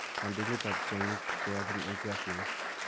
kandoindetap tyong'ik che yaachen eng' piasinik